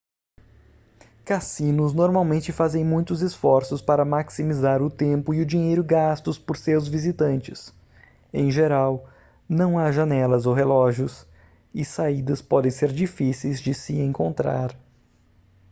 cassinos normalmente fazem muitos esforços para maximizar o tempo e o dinheiro gastos por seus visitantes em geral não há janelas ou relógios e saídas podem ser difíceis de se encontrar